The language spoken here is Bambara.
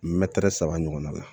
Mɛtiri saba ɲɔgɔnna la